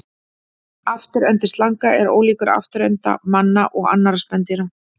Afturendi slanga er ólíkur afturenda manna og annarra spendýra.